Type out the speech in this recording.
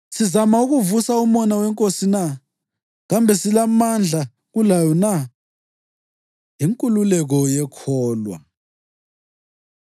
Sizama ukuvusa umona weNkosi na? Kambe silamandla kulayo na? Inkululeko Yekholwa